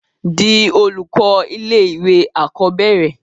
di olùkọ́ ilé ìwé àkọ́bẹ̀rẹ̀